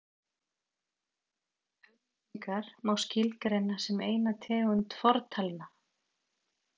auglýsingar má skilgreina sem eina tegund fortalna